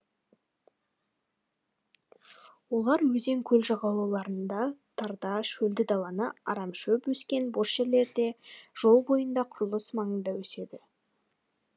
олар өзен көл жағалауларында тарда шөлді далалы арамшөп өскен бос жерлерде жол бойында құрылыс маңында өседі